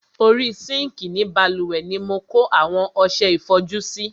Orí sinkii ni bálùwẹ̀ ni mo kó àwọn ọsẹ ìfọjú sí.